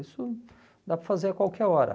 Isso dá para fazer a qualquer hora.